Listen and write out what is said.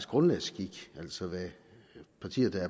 grundlagsskik altså hvad partier der er